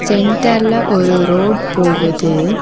சென்டர்ல ஒரு ரோட் போகுது.